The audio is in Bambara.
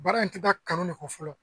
Baara in tɛ taa kanu de kɔ fɔlɔ